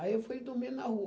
Aí eu fui dormir na rua.